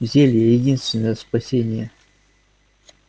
зелье единственное спасение